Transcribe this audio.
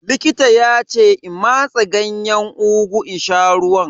Likita ya ce in matse Ganyen ugu in sha ruwan.